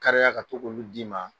Kariya ka to k'olu d'i ma